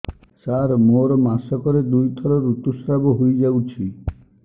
ସାର ମୋର ମାସକରେ ଦୁଇଥର ଋତୁସ୍ରାବ ହୋଇଯାଉଛି